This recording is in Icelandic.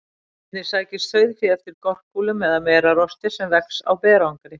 Einnig sækist sauðfé eftir gorkúlum eða merarosti sem vex á berangri.